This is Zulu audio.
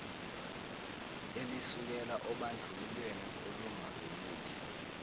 elisukela obandlululweni olungalungile